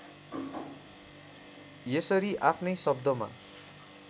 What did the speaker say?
यसरी आफ्नै शब्दमा